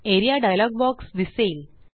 A R E A dialog box दिसेल